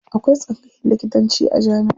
Akwai tsangayan likitanci a jamiʼa.